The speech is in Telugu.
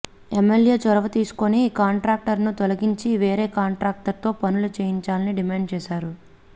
ఎమ్మెల్యే చొరవ తీసుకొని కాంట్రాక్టర్ను తొలగించి వేరే కాంట్రాక్టర్తో పనులు చేయించాలని డిమాండ్ చేశారు